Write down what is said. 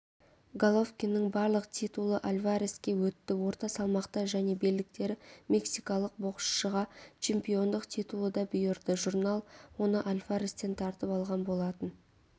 головкиннің барлық титулы альвареске өтті орта салмақта және белдіктері мексикалық боксшыға чемпиондық титулы да бұйырды журнал оны альварестен тартып алған болатын